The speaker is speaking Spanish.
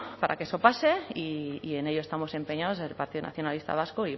para que eso pase y en ello estamos empeñados en el partido nacionalista vasco